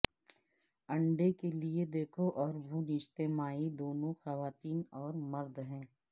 انڈے کے لئے دیکھو اور بھون اجتماعی دونوں خواتین اور مرد ہیں